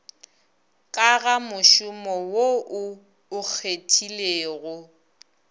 ka gamošomo wo o okgethilego